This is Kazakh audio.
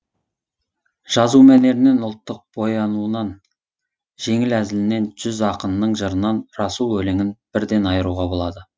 жазу мәнерінен ұлттық боянуынан жеңіл әзілінен жүз ақынның жырынан расул өлеңін бірден айыруға болады